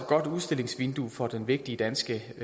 godt udstillingsvindue for den vigtige danske